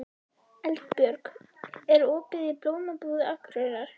Eldbjörg, er opið í Blómabúð Akureyrar?